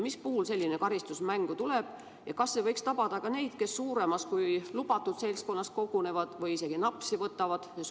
Mis puhul selline karistus mängu tuleb ja kas see võiks tabada ka neid, kes suuremas kui lubatud seltskonnas kogunevad ja seal isegi napsi võtavad?